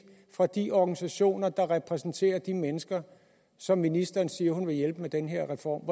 fra de organisationer der repræsenterer de mennesker som ministeren siger hun vil hjælpe med den her reform